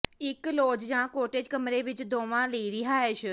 ਇੱਕ ਲਾਜ ਜਾਂ ਕਾਟੇਜ ਕਮਰੇ ਵਿੱਚ ਦੋਵਾਂ ਲਈ ਰਿਹਾਇਸ਼